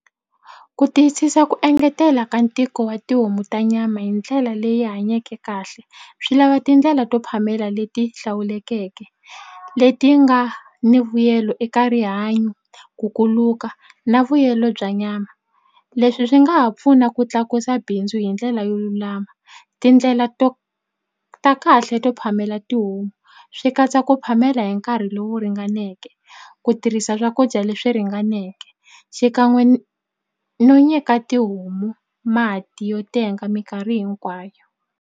Ku tiyisisa ku engetela ka ntiko wa tihomu ta nyama hi ndlela leyi hanyeke kahle swi lava tindlela to phamela leti hlawulekeke leti nga ni vuyelo eka rihanyo ku kuluka na vuyelo bya nyama leswi swi nga ha pfuna ku tlakusa bindzu hi ndlela yo lulama tindlela to ta kahle to phamela tihomu swi katsa ku phamela hi nkarhi lowu ringaneke ku tirhisa swakudya leswi ringaneke xikan'we no nyika tihomu mati yo tenga mikarhi hinkwayo.